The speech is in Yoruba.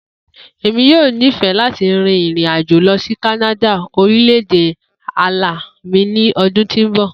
Emi yoo nifẹ lati rin irin-ajo lọ si Kanada orilẹ-ede ala mi ni ọdun ti n bọ.